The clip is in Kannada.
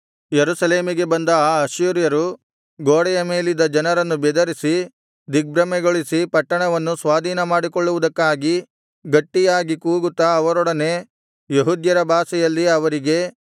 ಯೆರೂಸಲೇಮಿಗೆ ಬಂದ ಆ ಅಶ್ಶೂರ್ಯರು ಗೋಡೆಯ ಮೇಲಿದ್ದ ಜನರನ್ನು ಬೆದರಿಸಿ ದಿಗ್ಭ್ರಮೆಗೊಳಿಸಿ ಪಟ್ಟಣವನ್ನು ಸ್ವಾಧೀನಮಾಡಿಕೊಳ್ಳುವುದಕ್ಕಾಗಿ ಗಟ್ಟಿಯಾಗಿ ಕೂಗುತ್ತಾ ಅವರೊಡನೆ ಯೆಹೂದ್ಯರ ಭಾಷೆಯಲ್ಲಿ ಅವರಿಗೆ